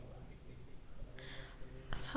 हा सागर कसा आहेस